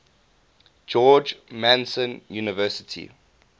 george mason university